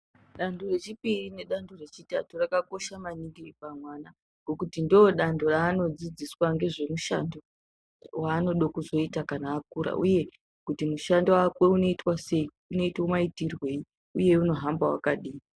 Danto rechipiri nedzanto rechitatu rakakosha maningi pamwana ,ngekuti ndodanto raanodzidziswa ngezvemishando waanode kuzoita kana akura ,uye kuti mushando wake unoitwa sei, unoitwa maitirwei uye unohamba wakadini.